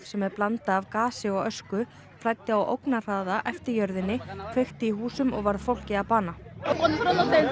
sem er blanda af gasi og ösku flæddi á ógnarhraða eftir jörðinni kveikti í húsum og varð fólki að bana